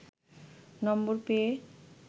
নম্বর পেয়ে